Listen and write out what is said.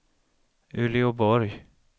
Uleåborg